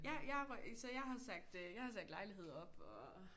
Ja jeg arbejder så jeg har sagt øh jeg har sagt lejlighed op og